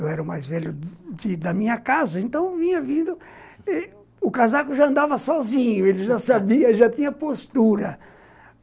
Eu era o mais velho da minha casa, então vinha vindo... O casaco já andava sozinho, ele já sabia, já tinha postura.